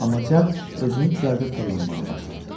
Amma cəld özünü düzəldib fırlanmağa başladı.